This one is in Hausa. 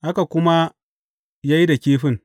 Haka kuma ya yi da kifin.